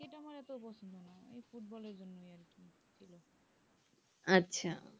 আচ্ছা